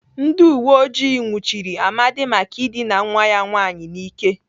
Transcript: Ndị uweojii nwụchiri Amadi maka ịdịna nwa ya nwaanyị n'ike.